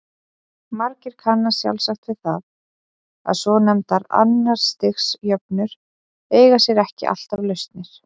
Margir kannast sjálfsagt við það að svonefndar annars stigs jöfnur eiga sér ekki alltaf lausnir.